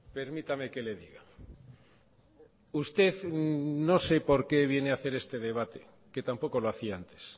permítame que le diga usted no sé por qué viene a hacer este debate que tampoco lo hacía antes